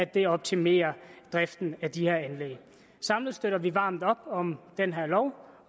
det optimerer driften af de her anlæg samlet støtter vi varmt op om den her lov